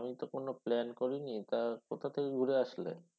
আমি তো কোনও plan করিনি তা কোথা থেকে ঘুরে আসলে?